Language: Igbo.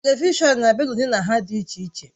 Televishọn na-abịa n'ụdị na nha dị iche iche